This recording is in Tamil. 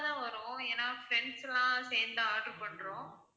தான் வரும் ஏன்னா friends லாம் சேர்ந்து தான் order பண்றோம்.